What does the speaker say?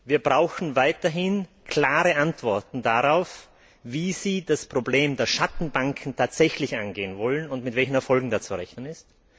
Wir brauchen weiterhin klare Antworten darauf, wie Sie das Problem der Schattenbanken tatsächlich angehen wollen, und mit welchen Erfolgen da zu rechnen ist.